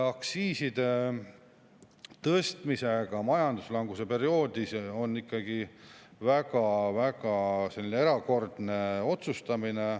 Aktsiiside tõstmine majanduslanguse perioodil on ikkagi väga erakordne otsustamine.